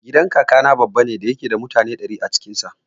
Gidan Kakana babban gida ne da yake da mutane ɗari a cikin sa.